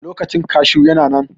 Lokacin kashu yana nan.